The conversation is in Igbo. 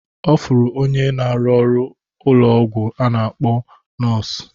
Ọ fụrụ onye n'aru n'ụlọ ọgwụ a na-akpọ nọọsụ